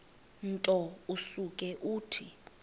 nto usuke uthi